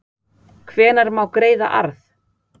Hvenær má greiða arð?